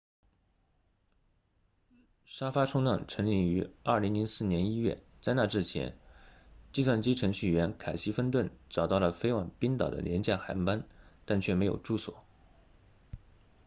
沙发冲浪成立于2004年1月在那之前计算机程序员凯西芬顿 casey fenton 找到了飞往冰岛的廉价航班但却没有住所